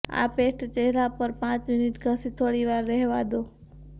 આ પેસ્ટ ચહેરા પર પાંચ મિનિટ ઘસી થોડી વાર રહેવા દો